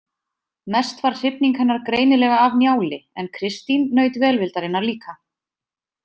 Mest var hrifning hennar greinilega af Njáli en Kristín naut velvildarinnar líka.